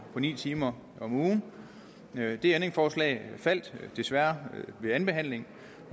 ni timer om ugen det ændringsforslag faldt desværre ved andenbehandlingen